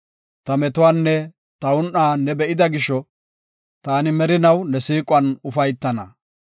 Ta metuwanne ta un7a ne be7ida gisho taani merinaw ne siiquwan ufaytana.